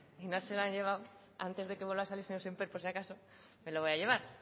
y no se lo han llevado antes de que vuelva a salir el señor sémper por si acaso me lo voy a llevar